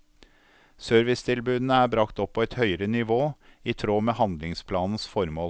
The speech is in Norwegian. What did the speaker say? Servicetilbudene er bragt opp på et høyere nivå, i tråd med handlingsplanens formål.